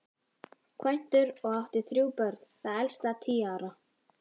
Kvæntur og átti þrjú börn, það elsta tíu ára.